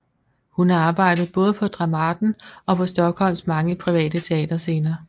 Hun har arbejdet både på Dramaten og på Stockholms mange private teaterscener